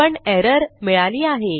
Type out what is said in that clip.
पण एरर मिळाली आहे